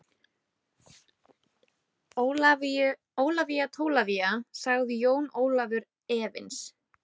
Ólafía Tólafía, sagði Jón Ólafur efins.